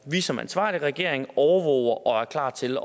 vi som ansvarlig regering overvåger og er klar til